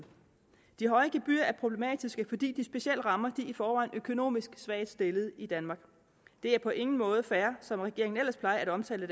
de høje gebyrer er problematiske fordi de specielt rammer de i forvejen økonomisk svagt stillede i danmark det er på ingen måde fair som regeringen ellers plejer at omtale